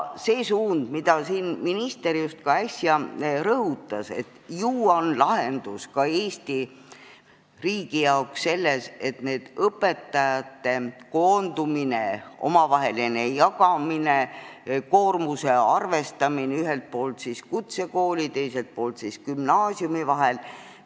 Suund, mida minister just äsja rõhutas: lahendus ka Eesti riigi jaoks on ju õpetajate koondumine, omavaheline jagamine, koormuse arvestamine ühelt poolt kutsekooli ja teiselt poolt gümnaasiumi vahel.